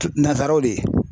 Nansaraw de ye